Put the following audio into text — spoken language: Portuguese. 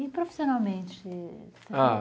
E profissionalmente? Ah